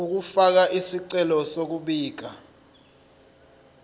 ukufaka isicelo sokubika